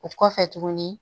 O kɔfɛ tuguni